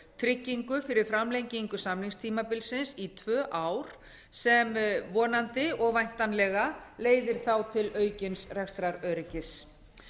tryggingu fyrir framlengingu samningstímabilsins í tvö ár sem vonandi og væntanlega leiðir þá til aukins rekstraröryggis